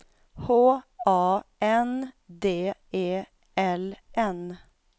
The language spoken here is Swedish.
H A N D E L N